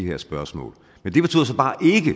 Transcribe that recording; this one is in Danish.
her spørgsmål men